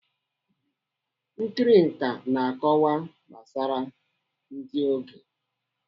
Nkiri nkà na-akọwa gbasara ndị oge